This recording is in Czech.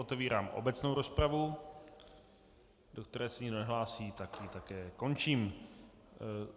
Otevírám obecnou rozpravu, do které se nikdo nehlásí, tak ji také končím.